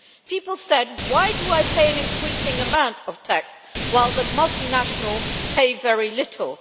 People asked Why do I pay an increasing amount of tax while the multinationals pay very little?